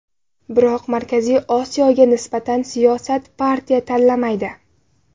Biroq Markaziy Osiyoga nisbatan siyosat partiya tanlamaydi.